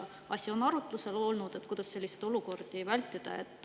Kas on arutlusel olnud, kuidas selliseid olukordi vältida?